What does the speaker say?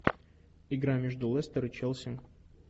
игра между лестер и челси